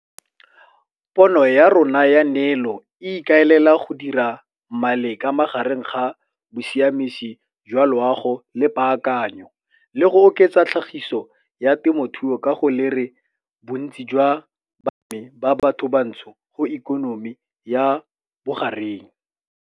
Pono ya rona ya neelo e ikaelela go dira maleka magareng ga bosiamisi jwa loago le paakanyo, le go oketsa tlhagiso ya temothuo ka go lere bontsi jwa balemi ba batho bantsho go ikonomi ya bogareng.